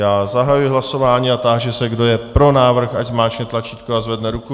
Já zahajuji hlasování a táži se, kdo je pro návrh, ať zmáčkne tlačítko a zvedne ruku.